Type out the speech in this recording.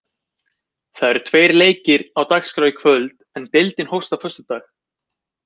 Það eru tveir leikir á dagskrá í kvöld, en deildin hófst á föstudag.